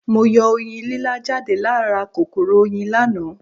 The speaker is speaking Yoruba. Mo yọ Oyin lílá jáde lá ra kòkòrò Oyin láàná